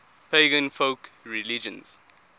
pagan folk religions